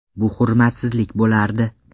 Bu hurmatsizlik bo‘lardi.